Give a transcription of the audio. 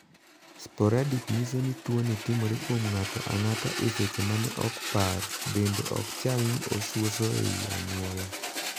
'Sporadic' nyiso ni tuo ni timore kuom ng'ato ang'ata e seche mane ok par bende ok chal ni osuoso ei anyuola.